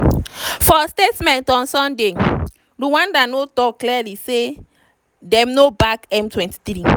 for statement on sunday rwanda no tok clearly say dem no back m23.